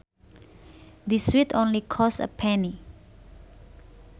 This sweet only costs a penny